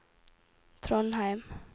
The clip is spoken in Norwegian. Trondheim